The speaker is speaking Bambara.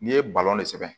N'i ye balɔn de sɛbɛn